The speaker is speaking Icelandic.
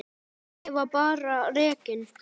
Ég var bara rekinn.